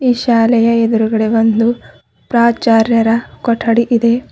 ಈ ಶಾಲೆಯ ಎದ್ರುಗಡೆ ಒಂದು ಪ್ರಾಚಾರ್ಯರ ಕೊಠಡಿ ಇದೆ.